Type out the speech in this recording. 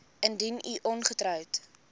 indien u ongetroud